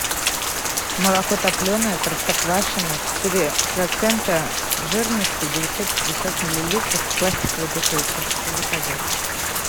молоко топленое простоквашино четыре процента жирности девятьсот пятьдесят миллилитров в пластиковой бутылке заказать